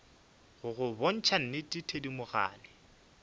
go go botša nnete thedimogane